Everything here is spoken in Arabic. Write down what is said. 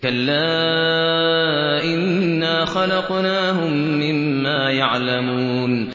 كَلَّا ۖ إِنَّا خَلَقْنَاهُم مِّمَّا يَعْلَمُونَ